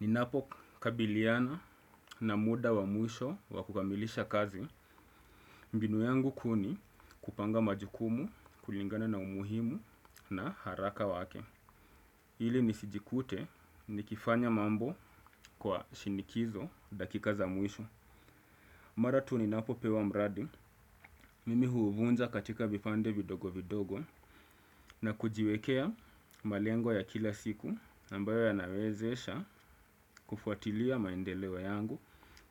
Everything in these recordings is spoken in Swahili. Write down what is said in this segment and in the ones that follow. Ninapo kabiliana na muda wa muisho wa kukamilisha kazi, mbinu yangu ku ni kupanga majukumu kulingana na umuhimu na haraka wake. Hili nisijikute nikifanya mambo kwa shinikizo dakika za muisho. Mara tu ninapo pewa mradi, mimi huuvunja katika vipande vidogo vidogo na kujiwekea malengo ya kila siku ambayo yanawezesha kufuatilia maendelewo yangu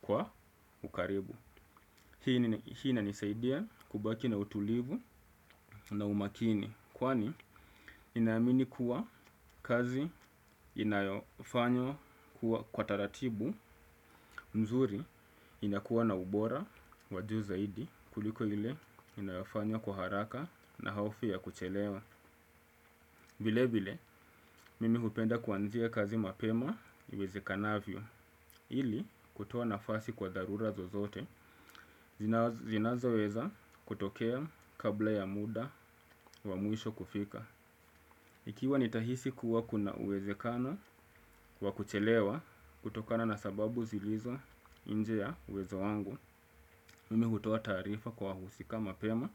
kwa ukaribu. Hii inanisaidia kubaki na utulivu na umakini. Kwani ninayamini kuwa kazi inayofanywa kuwa kwa taratibu mzuri. Inakuwa na ubora wa juu zaidi kuliko ile inayofanyo kwa haraka na hofu ya kuchelewa vile vile mimi hupenda kuanzia kazi mapema iwezakanavyo. Ili kutoa nafasi kwa darura zozote, zinazo weza kutokea kabla ya muda wa muisho kufika. Ikiwa nitahisi kuwa kuna uwezekano wa kuchelewa kutokana na sababu zilizo inje ya uwezo wangu, mimi hutoa tarifa kwa husika mapema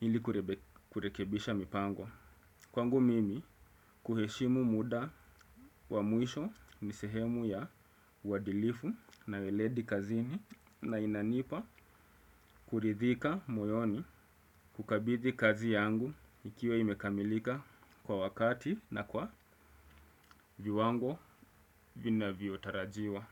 ili kurekebisha mipango. Kwangu mimi kuheshimu muda wa muisho nisehemu ya wadilifu na weledi kazini na inanipa kuridhika moyoni kukabidi kazi yangu ikiwa imekamilika kwa wakati na kwa viwango vina viotarajiwa.